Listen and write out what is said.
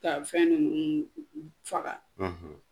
Ka fɛn nUnnu faga.